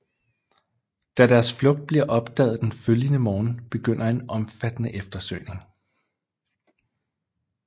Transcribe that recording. Da deres flugt bliver opdaget den følgende morgen begynder en omfattende eftersøgning